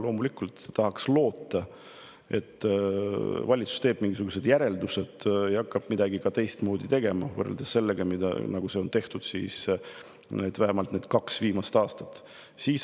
Loomulikult tahaks loota, et valitsus teeb siit mingisugused järeldused ja hakkab midagi teistmoodi tegema, võrreldes sellega, mida nad kaks viimast aastat on teinud.